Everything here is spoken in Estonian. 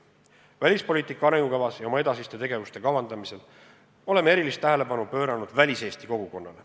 Välispoliitika arengukavas ja oma edasiste tegevuste kavandamisel oleme erilist tähelepanu pööranud väliseesti kogukonnale.